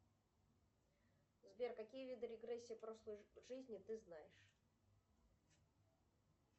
сбер какие виды регрессии прошлой жизни ты знаешь